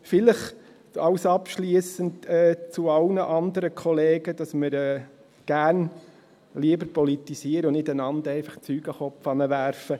Abschliessend an alle anderen Kollegen vielleicht noch der Hinweis, dass wir gerne lieber politisieren würden, als einander Zeug an den Kopf zu werfen.